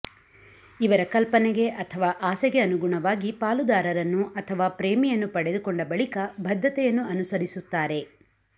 ಇವರ ಕಲ್ಪನೆಗೆ ಅಥವಾ ಆಸೆಗೆ ಅನುಗುಣವಾಗಿ ಪಾಲುದಾರರನ್ನು ಅಥವಾ ಪ್ರೇಮಿಯನ್ನು ಪಡೆದುಕೊಂಡ ಬಳಿಕ ಬದ್ಧತೆಯನ್ನು ಅನುಸರಿಸುತ್ತಾರೆ